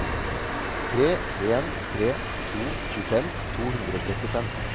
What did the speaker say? tre en tre to tjuefem to hundre og trettifem